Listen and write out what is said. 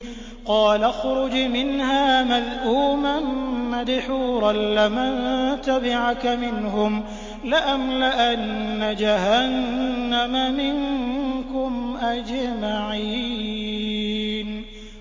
قَالَ اخْرُجْ مِنْهَا مَذْءُومًا مَّدْحُورًا ۖ لَّمَن تَبِعَكَ مِنْهُمْ لَأَمْلَأَنَّ جَهَنَّمَ مِنكُمْ أَجْمَعِينَ